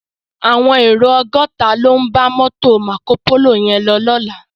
Áwòn éró ògòtá ló n bá mòtó Mákópóló yèn lò lòlá